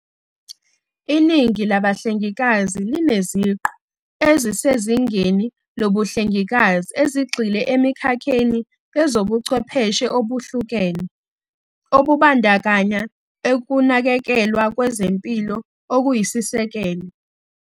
Iningi labahlengikazi lineziqu ezisezingeni lobuhlengikazi, ezigxile emikhakheni yezobuchwepheshe obehlukene, obubandakanya ukunakekelwa kwezempilo okuyisisekelo.